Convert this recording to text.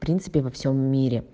в принципе во всём мире